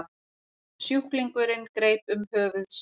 Sjúklingurinn greip um höfuð sér.